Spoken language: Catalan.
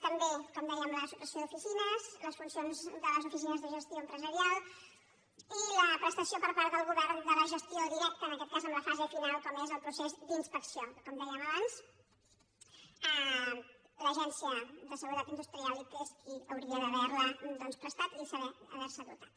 també com dèiem la supressió d’oficines les funcions de les oficines de gestió empresarial i la prestació per part del govern de la gestió directa en aquest cas en la fase final com és el procés d’inspecció com dèiem abans l’agència de seguretat industrial que és qui hauria d’haver la doncs prestat i haver se dotat